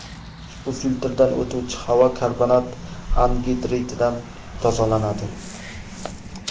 Ushbu filtrdan o‘tuvchi havo karbonat angidriddan tozalanadi.